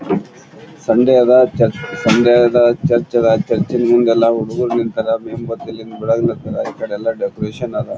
Sunday ಅದ್ church Sunday ಅದ್ church ಅದ್ ಚರ್ಚಿನ್ ಮುಂದೆಲ್ಲಾ ಹುಡುಗ್ರು ನಿಂತರ್ ಮೇಣ್ ಬತ್ತಲ್ಲಿ ಬೆಳಗ್ಲ್ ತರ್ ಈ ಕಡೆ ಎಲ್ಲಾ ಡೆಕೋರೇಷನ್ ಅದ್.